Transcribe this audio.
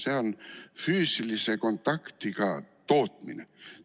See on füüsilise kontaktiga tootmine.